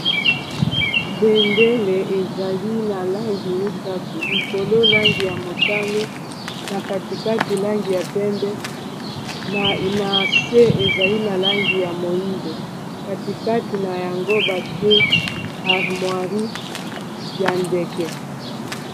bendele ezali na langi misato likolo langi ya motane na katikati langi ya pembe na se ezali na langi ya moindo katikati na yango batie armoierie ya ndeke.